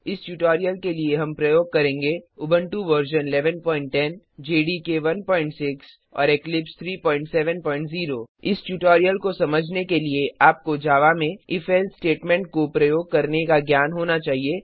इस ट्यूटोरियल के लिए हम प्रयोग करेंगे उबुंटू व 1110 जेडीके 16 और इक्लिप्स 370 इस ट्यूटोरियल को समझने के लिए आपको जावा में इफ एल्से स्टेटमेंट को प्रयोग करने का ज्ञान होना चाहिए